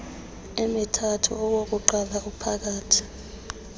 emithathu owokuqala ophakathi